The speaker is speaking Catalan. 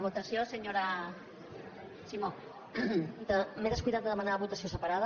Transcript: presidenta m’he descuidat de demanar votació separada